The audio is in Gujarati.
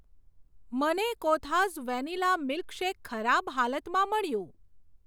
મને કોથાઝ વેનિલા મિલ્કશેક ખરાબ હાલતમાં મળ્યું.